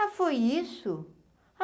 Ah, foi isso?